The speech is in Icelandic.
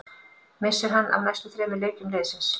Missir hann af næstu þremur leikjum liðsins.